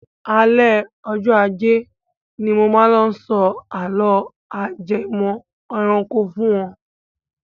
Alẹ́ ọjọ ajẹ́ ni mo máa lọ sọ àló ajẹmọ́ ẹranko fún wọn.